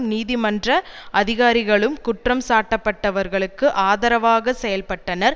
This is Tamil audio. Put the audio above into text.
நீதிமன்ற அதிகாரிகளும் குற்றம் சாட்டப்பட்டவர்களுக்கு ஆதரவாக செயல்பட்டனர்